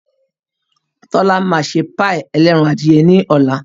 Tọ́lá máa ṣe páì ẹlẹ́ran adìye ní ọ̀la